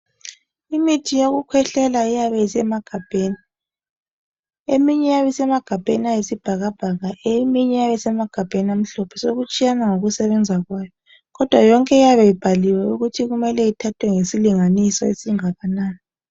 Imithi yokukhwehlela iyabe isemagabheni. Eminye iyabe isemagabheni ayisibhakabhaka eminye iyabe isemagabheni amhlophe. Sokutshiyana ngokusebenza kwayo kodwa yonke iyabe ibhaliwe ukuthi kumele ithathwe ngesilinganiso esingakanani.